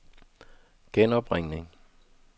genopringning